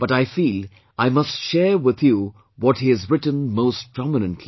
But I feel I must share with you what he has written most prominently